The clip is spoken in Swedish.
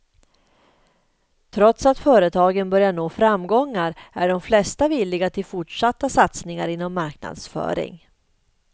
Trots att företagen börjar nå framgångar är de flesta villiga till fortsatta satsningar inom marknadsföring.